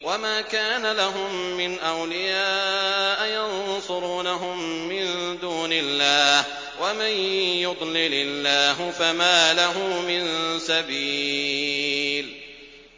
وَمَا كَانَ لَهُم مِّنْ أَوْلِيَاءَ يَنصُرُونَهُم مِّن دُونِ اللَّهِ ۗ وَمَن يُضْلِلِ اللَّهُ فَمَا لَهُ مِن سَبِيلٍ